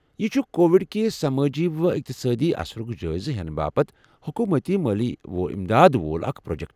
یہِ چُھ کووِڈ کہِ سمٲجی و اقتصادی اثرُک جٲیزٕ ہینہٕ باپت حکوٗمتی مٲلی امداد وول اکھ پروجیکٹ۔